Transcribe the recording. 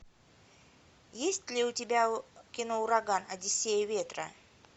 есть ли у тебя кино ураган одиссея ветра